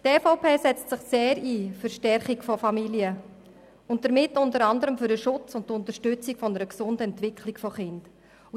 Die EVP setzt sich sehr für die Stärkung der Familien ein und damit für den Schutz und die Unterstützung einer gesunden Entwicklung von Kindern.